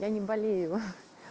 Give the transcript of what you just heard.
я не болею ха-ха